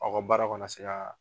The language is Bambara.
Aw ka baaraw ka na se ka